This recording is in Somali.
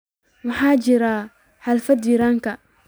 maxaa ka jira xaafada jirank